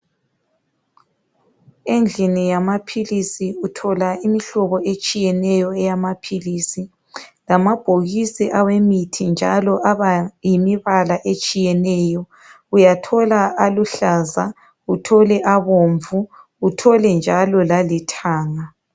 Endlini yamaphilisi uthola imihlobo etshiyeneyo eyamaphilisi. Lamabhokisi awemithi njalo, aba yimibala etshiyeneyo. Uyathola aluhlaza, uthole abomvu. Uthole njalo lalithanga.